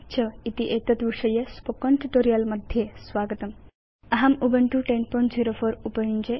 च इति एतत् विषयके स्पोकेन ट्यूटोरियल् मध्ये स्वागतम् अहं उबुन्तु 1004